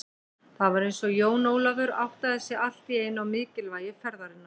Það var eins og Jón Ólafur áttaði sig allt í einu á mikilvægi ferðarinnar.